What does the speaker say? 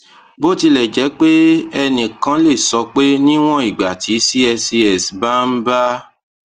bó tilẹ jẹ pé ẹnì kan lè sọ pé níwọn ìgbà tí cscs bá ń bá